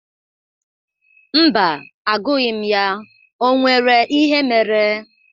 Mba, agụghi m ya. O nwere ihe mere?